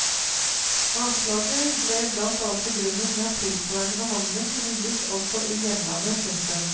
Avslaget ble blant annet begrunnet med at tilsvarende behandling kunne gis også i hjemlandet. punktum